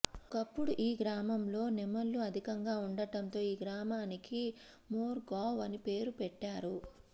ఒకప్పుడు ఈ గ్రామంలో నెమళ్ళు అధికంగా ఉండటంతో ఈ గ్రామానికి మోర్గాంవ్ అని పేరు పెట్టారు